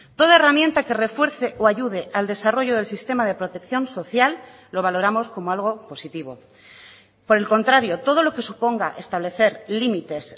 toda herramienta que refuerce o ayude al desarrollo del sistema de protección social lo valoramos como algo positivo por el contrario todo lo que suponga establecer límites